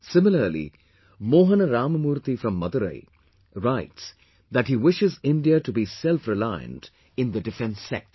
Similarly, Mohan Ramamurthy from Madurai, writes that he wishes India to be selfreliant in the defence sector